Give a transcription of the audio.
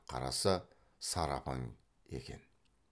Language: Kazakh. қараса сары апаң екен